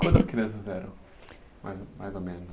Quantas crianças eram, mais ou menos?